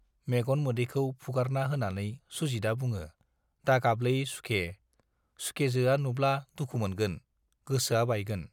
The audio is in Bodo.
मेगन मोदैखौ फुगारना होनानै सुजितआ बुङो, दागाबलै सुखे, सुखेजोआ नुब्ला दुखु मोनगोन, गोसोआ बायगोन।